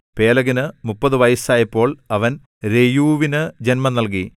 പേലെഗിന് മുപ്പതു വയസ് ആയപ്പോൾ അവൻ രെയൂവിന് ജന്മം നൽകി